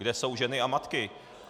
Kde jsou ženy a matky?